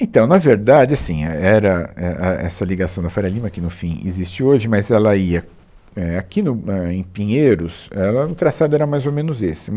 Então, na verdade, assim, é, era, é, a essa ligação da Faria Lima que, no fim, existe hoje, mas ela ia, é, aqui no, ah, em Pinheiros, era, o traçado era mais ou menos esse.